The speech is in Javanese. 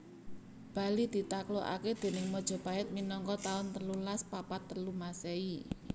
Bali ditaklukake déning Majapahit minangka taun telulas papat telu Masehi